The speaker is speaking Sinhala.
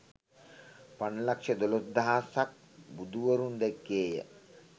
පන්ලක්‍ෂ දොළොස් දහසක් බුදුවරුන් දැක්කේ ය